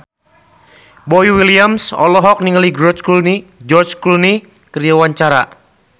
Boy William olohok ningali George Clooney keur diwawancara